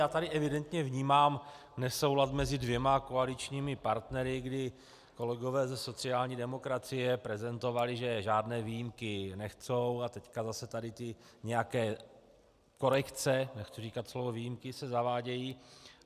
Já tady evidentně vnímám nesoulad mezi dvěma koaličními partnery, kdy kolegové ze sociální demokracie prezentovali, že žádné výjimky nechtějí, a teďka zase tady ty nějaké korekce, nechci říkat slovo výjimky, se zavádějí.